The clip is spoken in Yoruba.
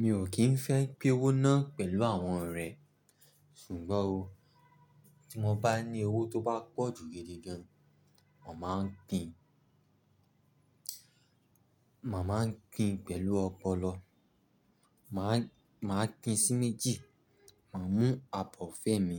Mi ò kín fẹ́ pin owó náà pẹ̀lú àwọn ọ̀rẹ́ ṣùgbọ́n o, tí mo bá ní owó tó bá pọ̀ jù gidi gan, mà máa ń pin, mà máa ń gbin pẹ̀lú ọpọlọ. Màá, màá pin sí méjì, màá mú àbọ̀ fẹ́ mi,